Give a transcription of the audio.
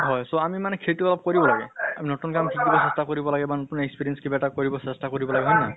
so আমি মানে সেইটো অলপ কৰিব লাগে। আমি নতুন কাম শিকিব চেষ্টা কৰিব লাগে বা নতুন experience কিবা এটা কৰিব চেষ্টা কৰিব লাগে হয় নে নহয়?